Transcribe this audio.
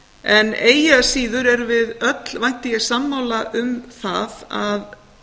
en eigi að síður erum við öll vænti ég sammála um það að